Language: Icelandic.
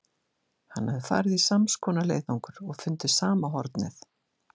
Hann hafði farið í sams konar leiðangur og fundið sama hornið.